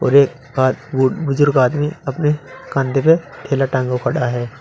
एक बुजुर्ग आदमी अपने कंधे पे थैला टांगे पड़ा है।